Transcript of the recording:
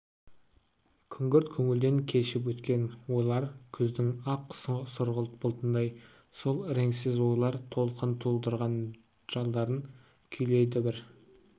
күңгірт көңілден кешіп өткен ойлар күздің ақ сұрғылт бұлтындай сол іреңсіз ойлар толқыны тудырған жолдарын күйлейді бір